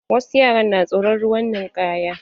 Wasu yaran na tsoron ruwan ninkaya.